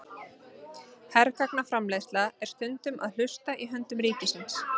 Hergagnaframleiðsla er stundum að hluta í höndum ríkisins.